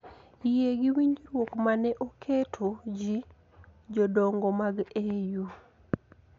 Yie gi winjruok ma ne oketo ji jodongo mag EU